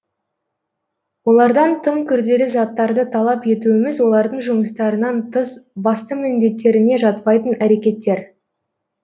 олардан тым күрделі заттарды талап етуіміз олардың жұмыстарынан тыс басты міңдеттеріне жатпайтын әрекеттер